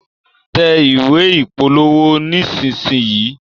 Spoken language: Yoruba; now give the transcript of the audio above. tẹ̀ ìwé ìpolówó nisisiyi.